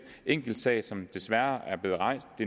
enkeltsag som desværre er blevet rejst